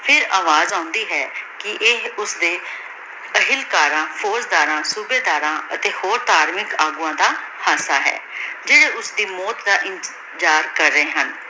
ਫੇਰ ਅਵਾਜ਼ ਆਉਂਦੀ ਹੈ ਕੀ ਇਹ ਓਸਦੀ ਬੇਹਨ ਕਰਨ ਫੁਗ ਦਰਾਂ ਸੋਬਾਯ ਦਰਾਂ ਅਤੀ ਹੋਰ ਧਾਰਮਿਕ ਅਗਵਾਨ ਦਾ ਹਸਨ ਹੈ ਜੇਰੀ ਓਸਦੀ ਮੋਉਤ ਦਾ ਇੰਤੀਜ਼ਰ ਕਰ ਰਹੀ ਹਨ